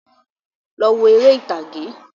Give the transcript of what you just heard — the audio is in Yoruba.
Lọ wo eré ìtàgé